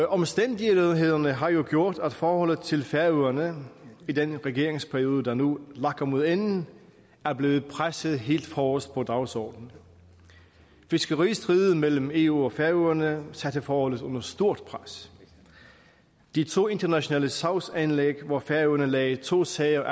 omstændighederne har jo gjort at forholdet til færøerne i den regeringsperiode der nu lakker mod enden er blevet presset helt forrest på dagsordenen fiskeristriden mellem eu og færøerne satte forholdet under stort pres de to internationale sagsanlæg hvor færøerne anlagde to sager